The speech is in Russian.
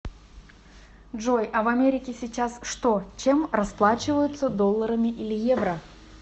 джой а в америке сейчас что чем расплачиваются долларами или евро